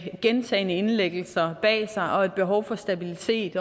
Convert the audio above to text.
gentagne indlæggelser bag sig som har et behov for stabilitet